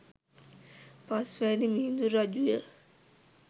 පස්වැනි Mihindu රජුය.